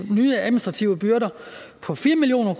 nye administrative byrder for fire million